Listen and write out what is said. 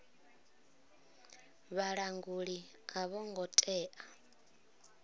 vhalanguli a vho ngo tea